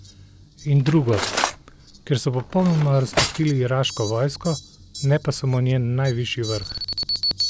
In drugo, ker so popolnoma razpustili iraško vojsko, ne pa samo njen najvišji vrh.